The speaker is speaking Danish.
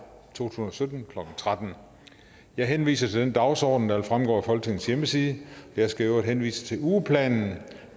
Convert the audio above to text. tusind og sytten klokken tretten jeg henviser til den dagsorden der fremgår af folketingets hjemmeside jeg skal i øvrigt henvise til ugeplanen